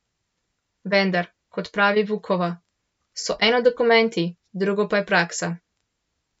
Vendar, kot pravi Vukova, so eno dokumenti, drugo pa je praksa.